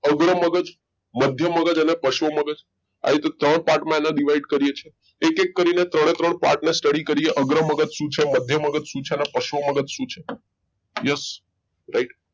અગ્ર મગજ મધ્ય મગજ અને પશ્વ મગજ આ રીતે ત્રણ part માં એને divide કરીએ છીએ એક એક કરીને ત્રણે ત્રણ part ને study કરીએ અગ્ર મગજ શું છે મધ્ય મગજ શું છે અને પશ્વ મગજ શું છે yes right